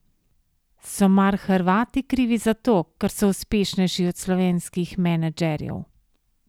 So mar Hrvati krivi za to, ker so uspešnejši od slovenskih menedžerjev?